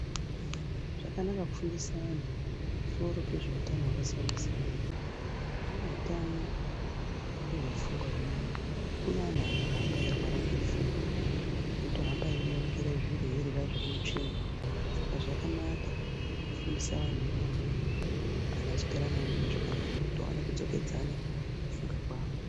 Zvakanaka kufundisa anhu pamusoro pezveutano hwakasiyana siyana umweni utano ngehwepfungwa hwemene kune anhu anohamba eirwara ngepfungwa eitohamba einongera zviro eirya zviri utsvina saka zvakanaka kufundisa vantu ivavo vanhu vachigara navo mune zvakanaka kuti aone kudzokedzana kufunga kwawo.